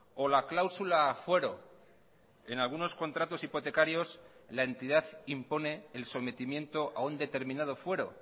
o la cláusula fuero en algunos contratos hipotecarios la entidad impone el sometimiento a un determinado fuero